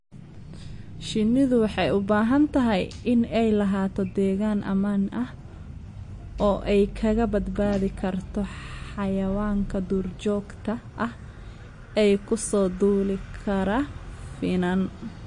Shinnidu waxay u baahan tahay inay lahaato deegaan ammaan ah oo ay kaga badbaadi karto xayawaanka duurjoogta ah ee ku soo duuli kara finan.